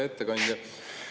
Hea ettekandja!